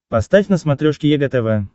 поставь на смотрешке егэ тв